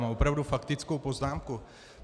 Mám opravdu faktickou poznámku.